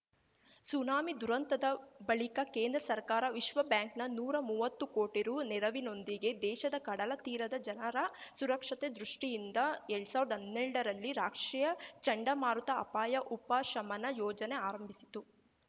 tsunami ದುರಂತದ ಬಳಿಕ ಕೇಂದ್ರ ಸರ್ಕಾರ ವಿಶ್ವಬ್ಯಾಂಕ್‌ನ ನೂರಾ ಮುವ್ವತ್ತು ಕೋಟಿ ರು ನೆರವಿನೊಂದಿಗೆ ದೇಶದ ಕಡಲ ತೀರದ ಜನರ ಸುರಕ್ಷತೆ ದೃಷ್ಟಿಯಿಂದ ಎಲ್ಡ್ ಸಾವ್ರ್ದಾ ಅನ್ನೆಲ್ಡರಲ್ಲಿ ರಾಷ್ಟ್ರೀಯ ಚಂಡಮಾರುತ ಅಪಾಯ ಉಪಶಮನ ಯೋಜನೆ ಆರಂಭಿಸಿತು